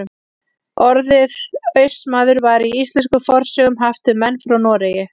Orðið Austmaður var í íslenskum fornsögum haft um menn frá Noregi.